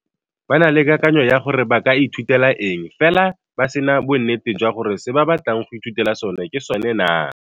Ba na le kakanyo ya gore ba ka ithutela eng fela ba se na bonnete jwa gore se ba batlang go ithutela sone ke sone naa.